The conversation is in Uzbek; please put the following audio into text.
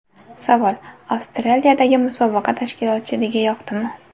Savol: Avstraliyadagi musobaqa tashkilotchiligi yoqdimi?